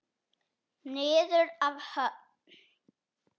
Niður að höfn.